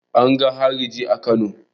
An ga hariji a Kano.